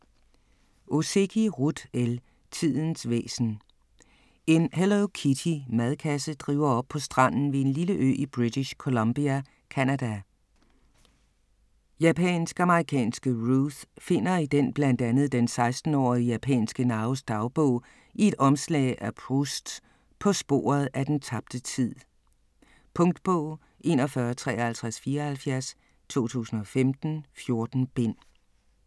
Ozeki, Ruth L.: Tidens væsen En Hello Kitty-madkasse driver op på stranden ved en lille ø i British Columbia, Canada. Japansk-amerikanske Ruth finder i den blandt andet den 16-årige japanske Naos dagbog i et omslag af Prousts "På sporet af den tabte tid". Punktbog 415374 2015. 14 bind.